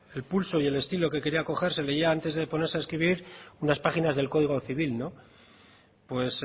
el pulso y el estilo que quería coger se leía antes de ponerse a escribir unas páginas del código civil pues